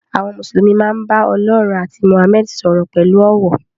Àwọn Mùsùlùmí máa ń bá Ọlọ́run àti Mohammed sọ̀rọ̀ pẹ̀lú ọ̀wọ̀.